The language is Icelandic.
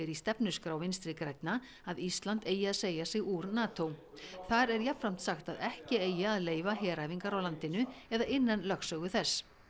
í stefnuskrá Vinstri grænna að Ísland eigi að segja sig úr þar er jafnframt sagt að ekki eigi að leyfa heræfingar í landinu eða innan lögsögu þess